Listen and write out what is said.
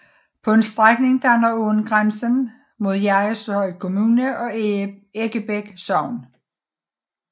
På en strækning danner åen grænsen mod Jerrishøj Kommune og Eggebæk Sogn